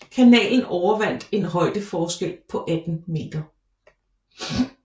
Kanalen overvandt en højdeforskel på 18 meter